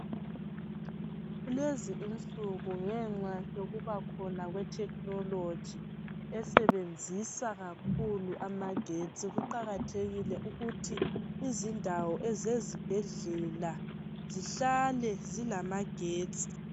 Lezi insuku ngenxa yokuba khona kwethekhinoloji esebenzisa kakhulu amagetsi. Kuqakathekile ukuthi izindawo zezibhedlela zihlale zilamagetsi.